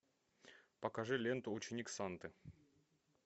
покажи ленту ученик санты